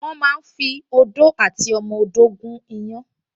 Wọ́n máa ń fi odó àti ọmọ odó gún iyán